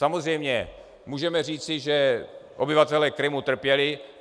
Samozřejmě můžeme říci, že obyvatelé Krymu trpěli.